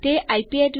તે વધુ ચોક્કસ હશે